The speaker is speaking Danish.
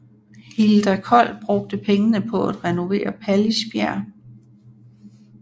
Hilda Kold brugte pengene på at renovere Pallisbjerg